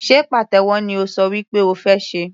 Sé pàtẹ́wọ́ ni o ṣọ wí pé o fẹ́ ṣe?.